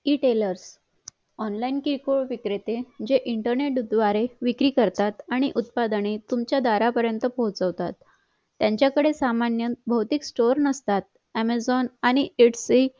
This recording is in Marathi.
retailer online किरकोळ विक्रेते जे इंटरनेट द्वारे विक्री करतात आणि उत्पादने तुमच्या दारापर्यत पोहचवतात त्यांच्या कडे सामान्य बहुतेक stoer नसतात amazon आणि gets way